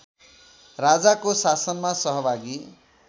राजाको शासनमा सहभागी